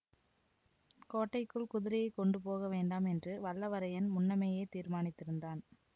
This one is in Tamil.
கோட்டைக்குள் குதிரையைக் கொண்டு போக வேண்டாம் என்று வல்லவரையன் முன்னமேயே தீர்மானித்திருந்தான்